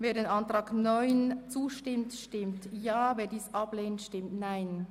Wer dies möchte, stimmt Ja, wer dies ablehnt, stimmt Nein.